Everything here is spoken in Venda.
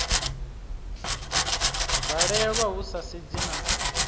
valelwa hu sa sedzi na